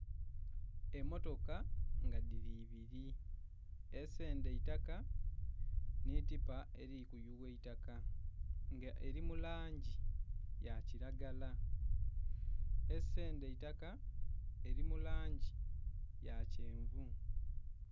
Emotoka nga diri ebiri, esenda eitaka ni tipa eri kuyuwa eitaka nga eri mulangi ya kilagara, esenda eitaka eri mulangi yakyenvu